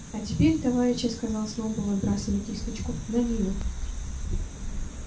а теперь товарищи сказал сноуболл отбрасывая кисточку на нивы